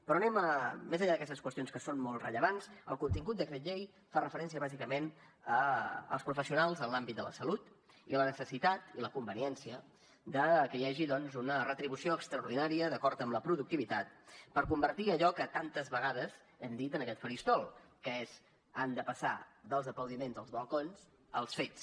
però anem més enllà d’aquestes qüestions que són molt rellevants al contingut del decret llei fa referència bàsicament als professionals en l’àmbit de la salut i a la necessitat i la conveniència de que hi hagi doncs una retribució extraordinària d’acord amb la productivitat per convertir allò que tantes vegades hem dit en aquest faristol que és han de passar dels aplaudiments als balcons als fets